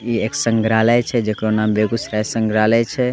इ एक संग्रालय छे जेकरो नाम बेगूसराय संग्रालय छे।